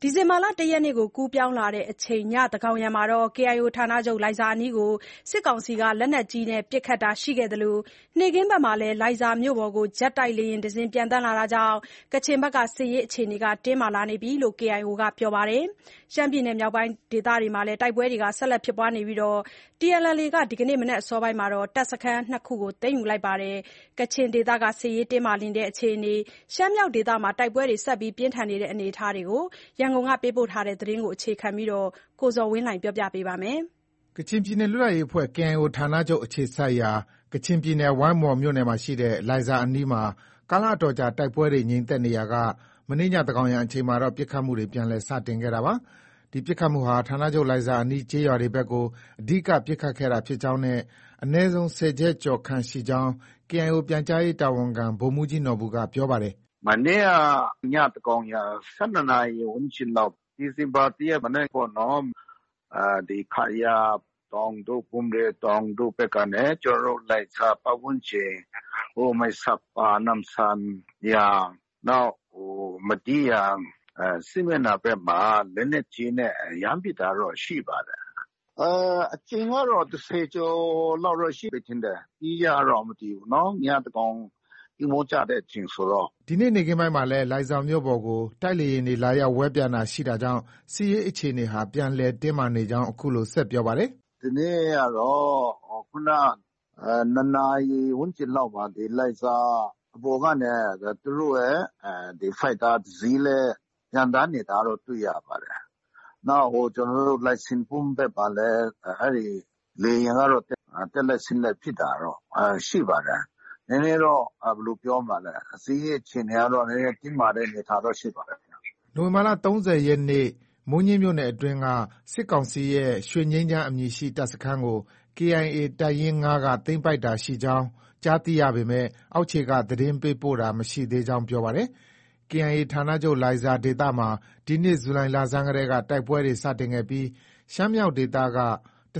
ဒီဇင်ဘာလ ၁ရက်နေ့ကို ကူးပြောင်းလာချိန် ညသန်းခေါင်ယံမှာ KIO ဌာနချုပ် လိုင်ဇာအနီးကို စစ်ကောင်စီက လက်နက်ကြီးနဲ့ ပစ်ခတ်တာတွေ ရှိခဲ့သလို နေ့ခင်းဘက်မှာတော့ လိုင်ဇာမြို့ပေါ်ကို ဂျက်တိုက်လေယာဉ်တစီး ပျံသန်းလာတာကြောင့် စစ်ရေးအခြေအနေဟာ တင်းမာလာနေကြောင်း KIO က ပြောပါတယ်။ ရှမ်းပြည်နယ်မြောက်ပိုင်းဒေသမှာတော့ တိုက်ပွဲတွေ ဆက်လက်ဖြစ်ပွားနေပြီး TNLA က ဒီနေ့ မနက်အစောမှာ တပ်စခန်း ၂ခုကို သိမ်းယူလိုက်ပါတယ်။ ကချင်ဒေသမှာ စစ်ရေးတင်းမာလာတာနဲ့ ရှမ်းမြောက်ဒေသမှာ တိုက်ပွဲတွေ ဆက်လက် ဖြစ်နေတဲ့အကြောင်း ရန်ကုန်ကပေးပို့တဲ့သတင်းကို အခြေခံပြီး ကိုဇော်ဝင်းလှိုင်က တင်ပြထားပါတယ်။ ကချင်လွတ်လပ်ရေးအဖွဲ့ KIO ဌာနချုပ် အခြေစိုက်ရာ ကချင်ပြည်နယ် ဝိုင်းမော်မြို့နယ်ရှိ လိုင်ဇာအနီးမှာ ကာလအတော်ကြာ တိုက်ပွဲတွေ ငြိမ်သက်နေရာက မနေ့ည သန်းခေါင်ယံအချိန်မှာတော့ ပစ်ခတ်မှုတွေ ပြန်လည် စတင်ခဲ့တာပါ။ ဒီပစ်ခတ်မှုဟာ ဌာနချုပ် လိုင်ဇာအနီး ကျေးရွာဘက်တွေကို အဓိက ပစ်ခတ်ခဲ့တာဖြစ်ကြောင်းနဲ့ အနည်းဆုံး ၁၀ချက်ကျော်ခန့် ရှိနိုင်ကြောင်း KIO ပြန်ကြားရေးတာဝန်ခံ ဗိုလ်မှုးကြီးနော်ဘူက ပြောပါတယ်။ “ မနေ့က ညသန်းခေါင်ယံ ၁၂နာရီ ဝန်းကျင်လောက် ဒီဇင်ဘာ ၁ ရက် မနက်ပေါ့နော်။ ဒီ ခရာတောင်တို့ ဘွမ့်ရေ တောင်တို့ဖက်ကနေ ကျနော်တို့ လိုင်ဇာပတ်ဝန်းကျင် မိုင်ဆတ်ပါ၊ နမ့်ဆန်ယန်၊ နောက် မဒီးယန် စစ်မျက်နှာဖက်မှာ လက်နက်ကြီးနဲ့ ရမ်းပစ်တာတော့ ရှိပါတယ်။ အကြိမ်ကတော့ ၁၀ကျော်လောက် ရှိမယ် ထင်တယ်။ အတိအကျတော့ မသိဘူးနော်။ ညသန်းခေါင် အိပ်မောကျတဲ့အချိန်ဆိုတော့။ ” ဒီနေ့ နေ့ခင်းပိုင်းမှာလည်း လိုင်ဇာမြို့ပေါ်ကို တိုက်လေယာဉ်တွေ လာရောက် ဝဲပျံတာရှိတာကြောင့် စစ်ရေးအခြေအနေဟာ ပြန်လည် တင်းမာနေကြောင်း အခုလို ဆက်ပြောပါတယ်။ “ ဒီနေ့ကတော့ ခုနက ၂ နာရီ ဝန်းကျင်လောက်မှာ လိုင်ဇာပေါ်ကနေ သူတို့ရဲ့ ဒီ Fighter တစီးလည်း ပျံသန်းနေတာတော့ တွေ့ရပါတယ်။ နောက်ကျနော်တို့ လိုင်စင်ဘွမ်ဘက်မှာလည်း အဲဒီလေယာဉ်ကတော့ တက်လိုက်၊ ဆင်းလိုက်ဖြစ်တာတော့ ရှိပါတယ်။ နည်းနည်းတော့ ဘယ်လို ပြောမလဲ စစ်ရေးအခြေအနေကတော့ နည်းနည်းတော့ တင်းမာတဲ့အနေအထားတော့ ရှိပါတယ်။ ” နိုဝင်ဘာလ ၃၀ရက်နေ့ မိုးညှင်းမြို့နယ်အတွင်းက စစ်ကောင်စီရဲ့ ရွှေငြိမ်းချမ်း အမည်ရှိ တပ်စခန်းတခုကို KIA တပ်ရင်း ၅က သိမ်းပိုက်ကြောင်း ကြားသိရပေမဲ့ အောက်ခြေက သတင်းပို့လာတာ မရှိသေးကြောင်း ပြောပါတယ်။ KIA ဌာချုပ် လိုင်ဇာဒေသမှာ ဒီနှစ် ဇူလိုင်လဆန်းတည်းက တိုက်ပွဲတွေ စတင်ခဲ့ပြီး ရှမ်းမြောက်ဒေသက ၁၀၂၇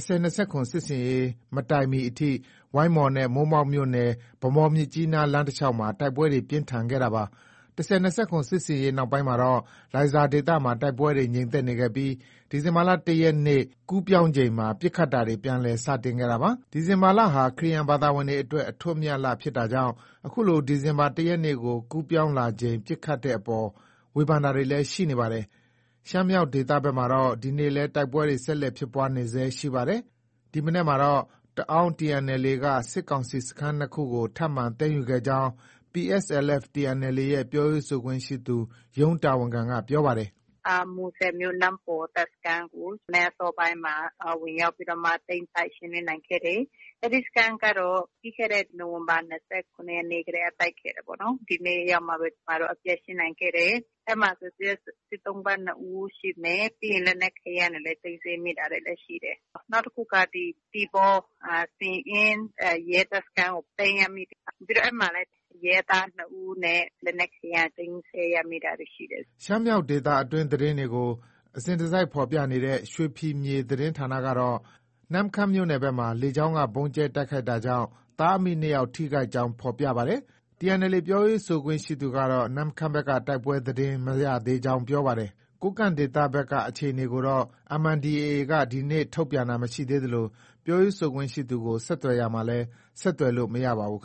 စစ်ဆင်ရေး မတိုင်မီအထိ ဝိုင်းမော်နဲ့ မိုးမောက်မြို့နယ် ဗန်းမော်- မြစ်ကြီးနား လမ်းတလျောက်မှာ တိုက်ပွဲတွေ ပြင်းထန်ခဲ့တာပါ။ ၁၀၂၇ စစ်ဆင်ရေးနောက်ပိုင်းမှာတော့ လိုင်ဇာဒေသမှာ တိုက်ပွဲတွေ ငြိမ်သက်နေခဲ့ပြီး ဒီဇင်ဘာလ ၁ရက်နေ့ ကူးပြောင်းချိန်မှာ ပစ်ခတ်တာတွေ ပြန်လည် စတင်ခဲ့တာပါ။ ဒီဇင်ဘာလဟာ ခရစ်ယာန်ဘာသာဝင်တွေအတွက် အထွဋ်အမြတ်လ ဖြစ်တာကြောင့် အခုလို ဒီဇင်ဘာလ ၁ရက်နေ့ကို ကူးပြောင်းလာချိန် ပစ်ခတ်တဲ့အပေါ်မှာ ဝေဖန်တာတွေလည်း ရှိနေပါတယ်။ ရှမ်းမြောက်ဒေသဘက်မှာတော့ ဒီကနေ့လည်း တိုက်ပွဲတွေ ဆက်လက်ဖြစ်ပွားနေဆဲရှိပါတယ်။ ဒီမနက်ပိုင်းမှာတော့ တအာင်းတပ် TNLA က စစ်ကောင်စီစခန်း ၂ ခုကို ထပ်မံ သိမ်းယူခဲ့ကြောင်း PSLF/TNLA ရဲ့ ပြောရေးဆိုခွင့်ရှိသူ ရုံးတာဝန်ခံက ပြောပါတယ်။ “ မူဆယ်မြို့ နမ့်ပေါ် တပ်စခန်းကို မနက်အစောပိုင်းမှာ ဝင်ရောက်ပြီးတော့မှ သိမ်းပိုက် ရှင်းလင်းနိုင်ခဲ့တယ်။ အဲဒီစခန်းကတော့ ပြီးခဲ့တဲ့ နိုဝင်ဘာ ၂၇ရက်နေ့ကတည်းက တိုက်ခဲ့တယ်ပေါ့နော်။ ဒီနေ့ ရောက်မှပဲ ကျမတို့ အပြတ်ရှင်းနိုင်ခဲ့တယ်။ အဲဒီမှာဆို စစ်သုံ့ပန်း ၂ဦးရှိမယ်။ ပြီးရင် လက်နက်ခဲယမ်းတွေလည်း သိမ်းဆည်းမိတာတွေလည်း ရှိမယ်။ နောက်တခုက ဒီ သီပေါ၊ စဉ့်အင် ရဲစခန်းကို သိမ်းရမိတာ။ အဲဒီမှာလည်း ရဲသား ၂ဦးနဲ့ လက်နက်ခဲယမ်းတွေ သိမ်းဆည်းရမိတာ ရှိတယ်။” ရှမ်းမြောက်ဒေသတွင်း သတင်းတွေကို အစဉ်တစိုက်ဖော်ပြနေတဲ့ ရွှေဖီမြေသတင်းဌာနကတော့ နမ့်ခမ်းမြို့ဘက်မှာ လေကြောင်းက ဗုံးကြဲ တိုက်ခိုက်တာကြောင့်သားအမိ ၂ယောက် ထိခိုက်ကြောင်း ဖော်ပြပါတယ်။ TNLA ပြောခွင့်ရသူကတော့ နမ့်ခမ်းဘက်က တိုက်ပွဲသတင်း မရသေးကြောင်း ပြောပါတယ်။ ကိုးကန့်ဒေသဘက်က အခြေအနေကိုတော့ MNDAA က ဒီကနေ့ ထုတ်ပြန်တာမရှိသေးသလို ပြောရေးဆိုခွင့်ရှိသူကို ဆက်သွယ်ရာမှာလည်း ဆက်သွယ်လို့ မရပါဘူး။